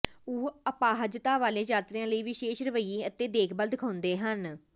ਉਹ ਅਪਾਹਜਤਾ ਵਾਲੇ ਯਾਤਰੀਆਂ ਲਈ ਵਿਸ਼ੇਸ਼ ਰਵੱਈਏ ਅਤੇ ਦੇਖਭਾਲ ਦਿਖਾਉਂਦੇ ਹਨ